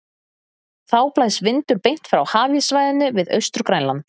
Þá blæs vindur beint frá hafíssvæðinu við Austur-Grænland.